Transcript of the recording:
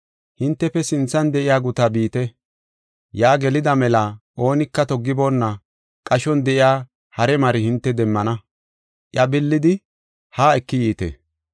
“Hintefe sinthan de7iya gutaa biite; yaa gelida mela oonika toggiboonna qashon de7iya hare mari hinte demmana, iya billidi, haa eki yiite.